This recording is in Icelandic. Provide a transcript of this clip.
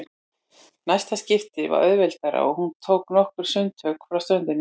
Næsta skipti var auðveldara og hún tók nokkur sundtök frá ströndinni.